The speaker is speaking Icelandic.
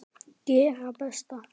Gera best.